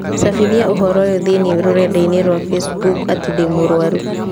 cabithia ũhoro ũyũ thĩinĩ rũrenda-inī rũa facebook atĩ ndĩ mũrũaru.